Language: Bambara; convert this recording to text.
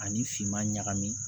Ani finman ɲagami